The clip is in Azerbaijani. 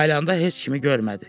Ayılanda heç kimi görmədi.